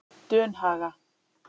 Dunhaga